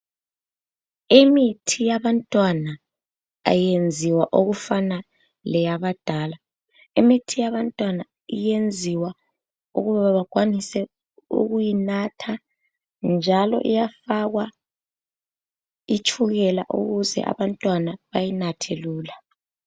Imithi yabantwana ayenziwa okufana leyabadala. Imithi yabantwana iyenziwa ukuba bakwanise ukuyinatha njalo iyafakwa itshukela ukuze abantwana bayinathe lula.